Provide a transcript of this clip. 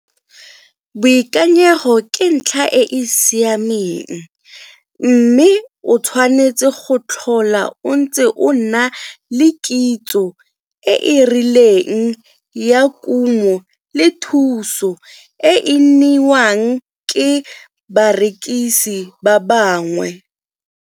Boikanyego ke ntlha e e siameng, mme o tshwanetse go tlhola o ntse o nna le kitso e e rileng ya kumo le thuso e e neiwang ke barekisi ba bangwe.